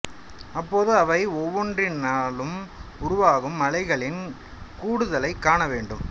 அப்போது அவை ஒவ்வொன்றினாலும் உருவாகும் அலைகளின் கூடுதலைக் காண வேண்டும்